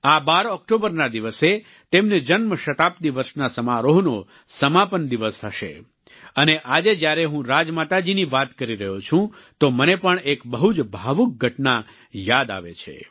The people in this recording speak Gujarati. આ 12 ઓક્ટોબરના દિવસે તેમની જન્મ શતાબ્દી વર્ષના સમારોહનો સમાપન દિવસ હશે અને આજે જ્યારે હું રાજમાતા જીની વાત કરી રહ્યો છુ્ં તો મને પણ એક બહુ જ ભાવુક ઘટના યાદ આવે છે